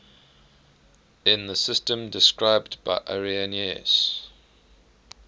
in the system described by irenaeus